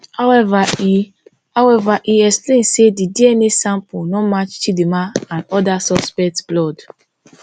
however e however e explain say di dna sample no match chidinma and oda suspects blood